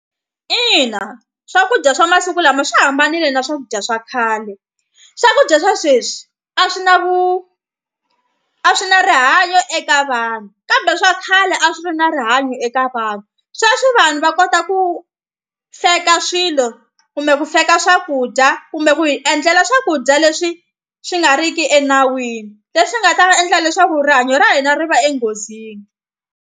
Ina swakudya swa masiku lama swi hambanile na swakudya swa khale swakudya swa sweswi a swi na vu a swi na rihanyo eka vanhu kambe swa khale a swi ri na rihanyo eka vanhu. Sweswi vanhu va kota ku fake ka swilo kumbe ku sweka swakudya kumbe ku hi endlela swakudya leswi swi nga riki enawini leswi nga ta va endla leswaku rihanyo ra hina ri va enghozini.